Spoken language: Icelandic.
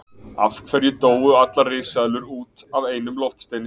Af hverju dóu allar risaeðlur út af einum loftsteini?